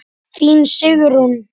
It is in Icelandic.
Þín Sigrún.